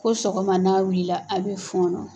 Ko sɔgɔma n'a wulila a bɛ fɔɔnɔ.